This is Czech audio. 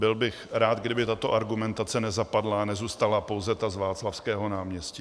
Byl bych rád, kdyby tato argumentace nezapadla a nezůstala pouze ta z Václavského náměstí.